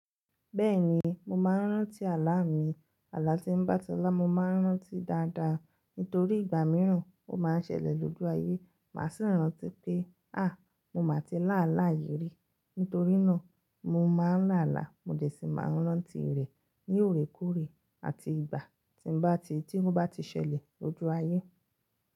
Bẹ́ẹ̀ni mo máa n rántí àlá mi, àlá tí n bá ti ńlá, mo ma n rántí dáadáa nítorí ìgbà mìíràn ó ma n sẹlẹ̀ lójú ayé, màa sì rántí pé “àá mo má ti lá àlá yìí rí”, nítorínà mo ma n lá àlá mo dẹ̀ sí máa n rántí rẹ̀ ní òrékòóre àti ìgbà tí n bá ti, tí n bá ti ṣẹlẹ̀ lójú ayé.